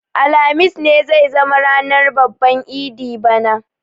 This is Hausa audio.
Alhamis ne zai zama ranar babban idi bana.